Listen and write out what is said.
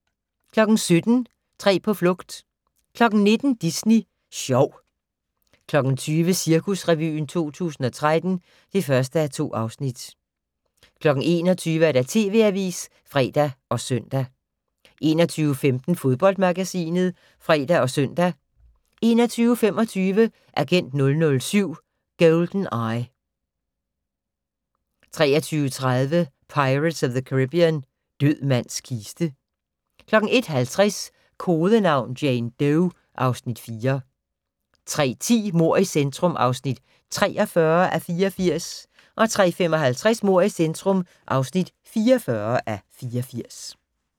17:00: Tre på flugt 19:00: Disney Sjov 20:00: Cirkusrevyen 2013 (1:2) 21:00: TV Avisen (fre og søn) 21:15: Fodboldmagasinet (fre og søn) 21:25: Agent 007: GoldenEye 23:30: Pirates of the Caribbean - Død mands kiste 01:50: Kodenavn: Jane Doe (Afs. 4) 03:10: Mord i centrum (43:84) 03:55: Mord i centrum (44:84)